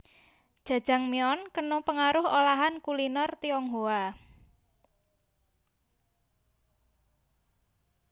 Jajangmyeon kena pengaruh olahan kuliner Tionghoa